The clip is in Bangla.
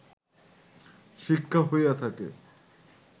শিক্ষা হইয়া থাকে